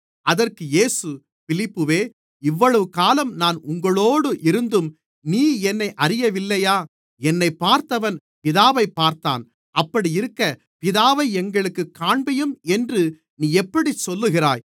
அதற்கு இயேசு பிலிப்புவே இவ்வளவு காலம் நான் உங்களோடு இருந்தும் நீ என்னை அறியவில்லையா என்னைப் பார்த்தவன் பிதாவைப் பார்த்தான் அப்படி இருக்க பிதாவை எங்களுக்குக் காண்பியும் என்று நீ எப்படிச் சொல்லுகிறாய்